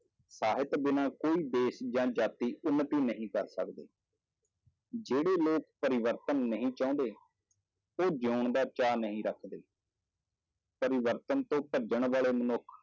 ਸਾਹਿਤ ਬਿਨਾਂ ਕੋਈ ਦੇਸ ਜਾਂ ਜਾਤੀ ਉੱਨਤੀ ਨਹੀਂ ਕਰ ਸਕਦੇ ਜਿਹੜੇ ਲੋਕ ਪਰਿਵਰਤਨ ਨਹੀਂ ਚਾਹੁੰਦੇ, ਉਹ ਜਿਉਣ ਦਾ ਚਾਅ ਨਹੀਂ ਰੱਖਦੇ ਪਰਿਵਰਤਨ ਤੋਂ ਭੱਜਣ ਵਾਲੇ ਮਨੁੱਖ